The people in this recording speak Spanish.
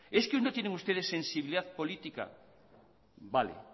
es que no tienen ustedes sensibilidad política vale